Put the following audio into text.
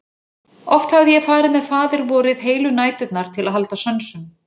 Oft hafði ég farið með Faðirvorið heilu næturnar til að halda sönsum.